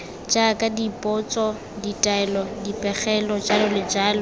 jaaka dipotso ditaelo dipegelo jj